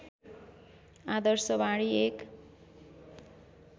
आदर्शवाणी एक